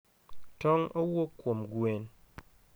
Tong' owuok kuom gwen.